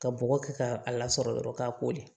Ka bɔgɔ kɛ k'a lasɔrɔ dɔrɔn k'a kori